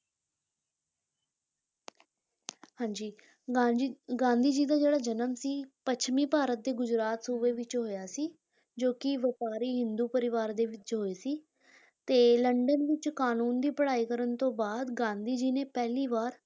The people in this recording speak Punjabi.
ਹਾਂਜੀ ਗਾਂਧੀ ਗਾਂਂਧੀ ਜੀ ਦਾ ਜਿਹੜਾ ਜਨਮ ਸੀ ਪੱਛਮੀ ਭਾਰਤ ਦੇ ਗੁਜਰਾਤ ਸੂਬੇ ਵਿੱਚ ਹੋਇਆ ਸੀ, ਜੋ ਕਿ ਵਪਾਰੀ ਹਿੰਦੂ ਪਰਿਵਾਰ ਦੇ ਵਿੱਚ ਹੋਏ ਸੀ ਤੇ ਲੰਡਨ ਵਿੱਚ ਕਾਨੂੰਨ ਦੀ ਪੜ੍ਹਾਈ ਕਰਨ ਤੋਂ ਬਾਅਦ ਗਾਂਧੀ ਜੀ ਨੇ ਪਹਿਲੀ ਵਾਰ